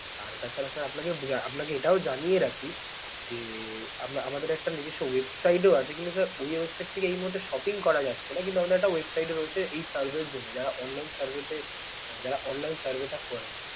আর তাছাড়া sir আপনাকে~ আপনাকে এটাও জানিয়ে রাখি যে আপনা~ আমাদের একটা নিজস্ব website ও আছে কিন্তু sir ওই website থেকে এই মুহূর্তে shopping করা যাচ্ছে না কিন্তু আমাদের একটা website ও রয়েছে এই survay এর জন্যে যারা online survey তে মানে যারা online survey টা করে।